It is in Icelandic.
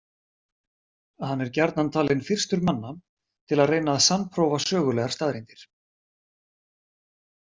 Hann er gjarnan talinn fyrstur manna til að reyna að sannprófa sögulegar staðreyndir.